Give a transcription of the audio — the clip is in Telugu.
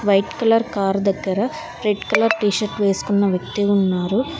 వైట్ కలర్ కార్ దగ్గర రెడ్ కలర్ టీ షర్ట్ వేసుకున్న వ్యక్తి ఉన్నారు.